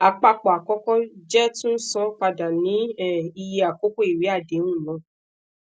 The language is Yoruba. apapọ akọkọ jẹ tun san pada ni um iye akoko iwe adehun naa